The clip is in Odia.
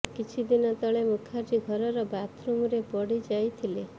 କିଛି ଦିନ ତଳେ ମୁଖାର୍ଜୀ ଘରର ବାଥରୁମରେ ପଡ଼ି ଯାଇଥିଲେ